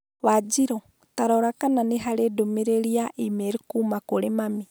Wanjĩrũ, ta rora kana nĩ harĩ ndũmĩrĩri ya e-mail kuuma kũrĩ mami.